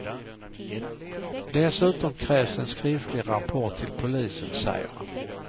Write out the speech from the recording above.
Dessutom krävs en skriftlig rapport till polisen, säger han.